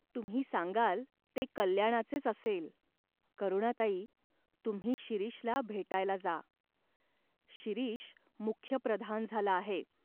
तुम्ही सांगाल ते कल्याणाचेच असेल." "करुणाताई, तुम्ही शिरीषला भेटायला जा. शिरीष मुख्य प्रधान झाला आहे.